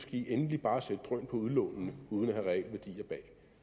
de endelig bare sætte drøn på udlånene uden at have realværdier bag